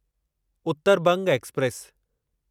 Uttar Banga express